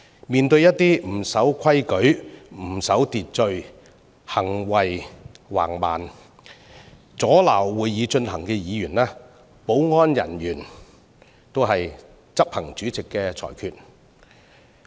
面對一些不守規矩和秩序、行徑橫蠻和阻撓會議進行的議員，保安人員只是執行主席的裁決。